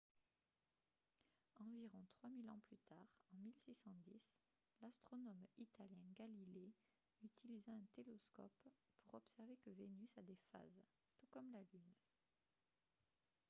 environ trois mille ans plus tard en 1610 l'astronome italien galilée utilisa un télescope pour observer que vénus a des phases tout comme la lune